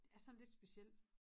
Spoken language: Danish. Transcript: Det er sådan lidt speciel